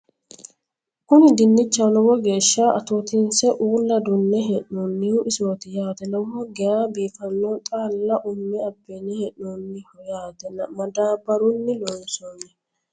kuni dinchaho lowo geeshsha atootinse uulla duunne hee'noonnihu isooti yaate lowo geya biifanno xaalla umme abbine hee'noonniho yaate madaabbaurnni loonsoonni